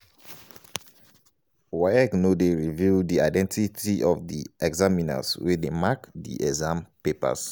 waec no dey reveal di identity of di examiners wey dey mark di exam papers.